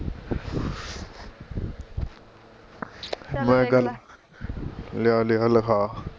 ਮੈਂ ਗੱਲ ਲਿਆ ਲਿਆ ਲਿਖਾਂ